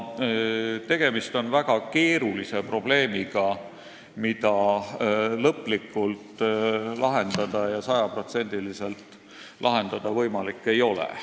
Tegemist on väga keerulise probleemiga, mida ei ole võimalik lõplikult ja sajaprotsendiliselt lahendada.